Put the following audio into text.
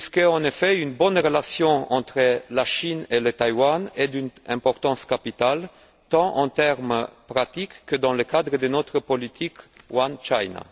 En effet, une bonne relation entre la Chine et Taïwan est d'une importance capitale tant en termes pratiques que dans le cadre de notre politique One China